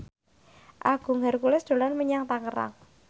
Agung Hercules dolan menyang Tangerang